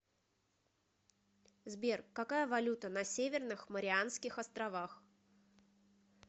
сбер какая валюта на северных марианских островах